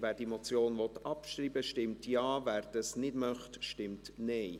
Wer diese Motion abschreiben will, stimmt Ja, wer dies nicht möchte, stimmt Nein.